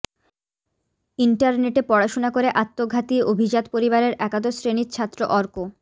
ইন্টারনেটে পড়াশোনা করে আত্মঘাতী অভিজাত পরিবারের একাদশ শ্রেণির ছাত্র অর্ক